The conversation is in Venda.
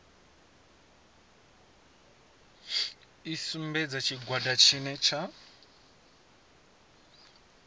i sumbedze tshigwada tshine tsha